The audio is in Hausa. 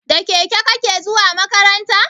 Da keke kake zuwa makaranta?